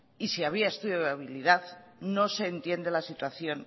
y si había estudio de viabilidad no se entiende la situación